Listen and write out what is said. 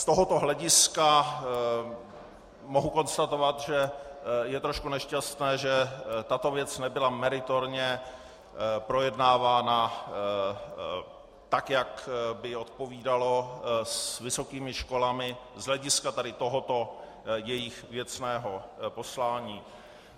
Z tohoto hlediska mohu konstatovat, že je trošku nešťastné, že tato věc nebyla meritorně projednávána tak, jak by odpovídalo, s vysokými školami z hlediska tady tohoto jejich věcného poslání.